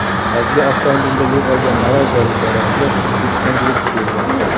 Hajga avtomobilda yo‘l olgan malayziyalik ziyoratchilar O‘zbekistonga yetib keldi .